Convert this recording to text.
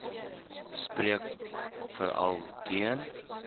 spreek veral teen